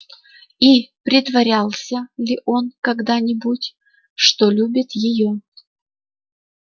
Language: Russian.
и притворялся ли он когда-нибудь что любит её